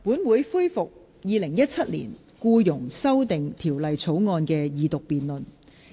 本會恢復《2017年僱傭條例草案》的二讀辯論。